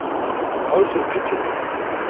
ha o se o phethetse